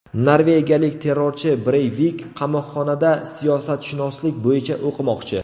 Norvegiyalik terrorchi Breyvik qamoqxonada siyosatshunoslik bo‘yicha o‘qimoqchi.